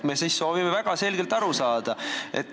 Me soovime asjast väga selgelt aru saada.